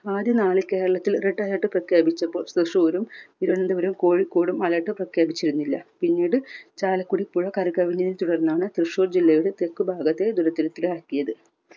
ആദ്യനാൾ കേരളത്തിൽ red alert പ്രഖ്യാപിച്ചപ്പോൾ തൃശ്ശൂരും തിരുവനന്തപുരവും കോഴിക്കോടും alert പ്രഖ്യാപിച്ചിരുന്നില്ല. പിന്നീട് ചാലക്കുടി പുഴ കരകവിഞ്ഞതിനെ തുടർന്നാണ് തൃശൂർ ജില്ലയുടെ തെക്ക് ഭാഗത്തെ ദുരിതത്തിലാക്കിയത്.